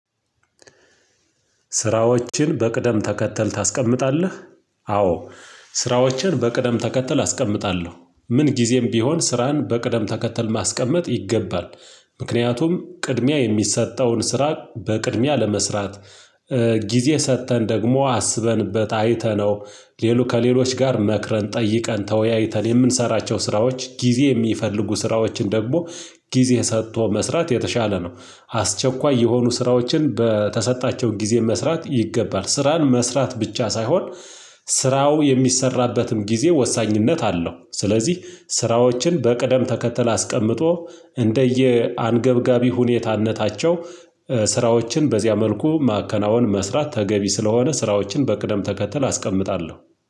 ስራዎችን በቅደም ተከተል ታስቀምጣለህ? አዎ። ስራዎችን በቅደም ተከተል አስቀምጣለሁ ምን ጊዜም ቢሆን ስራን በቅደም ተከተል ማስቀመጥ ይገባል። ምክንያቱም ቅድሚያ የሚሰጠውን ስራ በቅድሚያ ለመስራት። ጊዜ ሰጥተን ደግሞ አስበንበት አይተነው። ከሌሎች ጋር መክረን ጠይቀን ተወያይተን የምንሰራቸው ስራዎች ጊዜ የሚፈልጉ ስራዎችን ደግሞ ጊዜ ሰጥቶ መስራት የተሻለ ነው። አስቸኳይ የሆኑ ስራዎችን በተሰጣቸው ጊዜ መስራት ይገባል ስራን መስራት ብቻ ሳይሆን ስራው የሚሰራበትም ጊዜ ወሳኝነት አለው። ስለዚህ ስራዎችን በቅደም ተከተል አስቀምጦ እንደየ አንገብጋቢ ሁኔታነታቸው ስራዎችን በዚያ መልኩ ማከናወን መስራት ተገቢ ስለሆነ ስራዎችን በቅደም ተከተል አስቀምጣለሁ